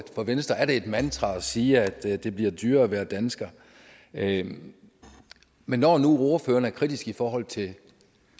for venstre er det et mantra at sige at det bliver dyrere at være dansker men men når nu ordføreren er kritisk i forhold til